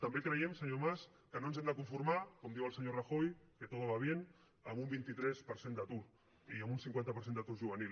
també creiem senyor mas que no ens hem de conformar com diu el senyor rajoy que todo va bienun vint tres per cent d’atur i amb un cinquanta per cent d’atur juvenil